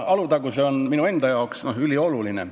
Alutaguse on minu enda jaoks ülioluline.